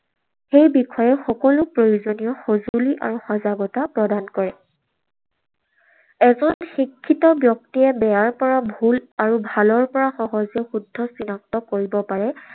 সেই বিষয়ে সকলো প্ৰয়োজনীয় সঁজুলি আৰু সজাগতা প্ৰদান কৰে। এজন শিক্ষিত ব্যক্তিয়ে বেয়াৰ পৰা ভুল আৰু ভালৰ পৰা সহজে শুদ্ধ চিনাক্ত কৰিব পাৰে।